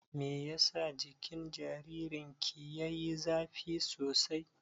Meyasa jikin jaririn ki yayi zafi sosai?